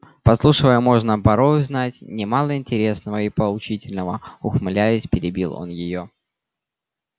подслушивая можно порой узнать немало интересного и поучительного ухмыляясь перебил он её